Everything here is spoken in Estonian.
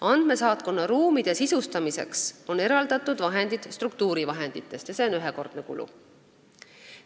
Andmesaatkonna ruumide sisustamiseks on eraldatud vahendid struktuurivahenditest ja see on ühekordne kulu.